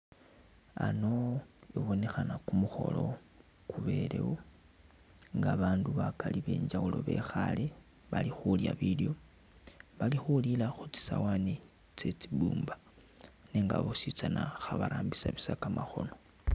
A'ano i'bonekhana kumukholo kubelewo nga bandu bakali benjawulo bekhale bali khulya bilyoo, bali khulila khutsi sawani tsetsi bumba nenga boositsana khabarambisa busa kamakhono